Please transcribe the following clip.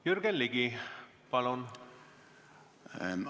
Jürgen Ligi, palun!